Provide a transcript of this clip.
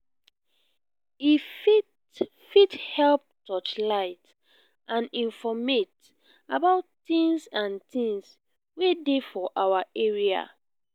e fit fit help touchlight and informate about things and things wey dey for our area